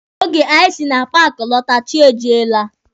Oge anyị si na paaki lọta, chi ejiela.